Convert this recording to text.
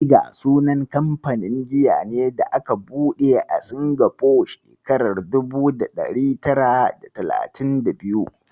Tiger sunan kamfanin giya ne da aka buɗe a Singapore a shekarar dubu da ɗari tara da talatin da biyu.